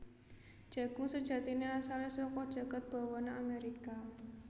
Jagung sejatiné asalé saka jagat bawana Amérika